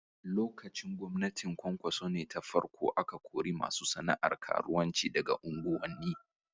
Lokacin gwamnatin Kwankwaso ne ta farko ne aka kori masu sana'ar karuwanci daga unguwanni.